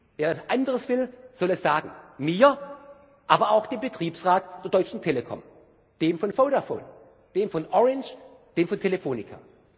ich. Wer etwas anderes will, soll es sagen mir, aber auch dem Betriebsrat der Deutschen Telekom, dem von Vodafone, dem von Orange, dem von Telefónica.